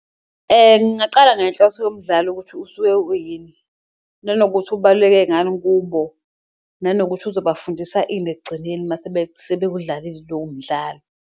Ngaqala ngenhloso yomdlalo ukuthi usuke uyini nanokuthi ubaluleke ngani kubo, nanokuthi sizobafundisa ini ekugcineni mase sebewudlalile lowo mdlalo.